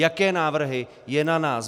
Jaké návrhy, je na nás.